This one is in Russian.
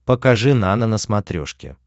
покажи нано на смотрешке